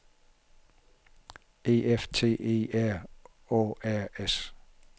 E F T E R Å R S